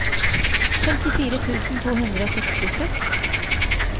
femtifire tusen to hundre og sekstiseks